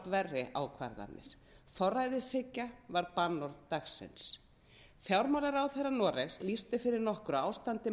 verri ákvarðanir forræðishyggja var bannorð dagsins fjármálaráðherra noregs lýsti fyrir nokkru ástandi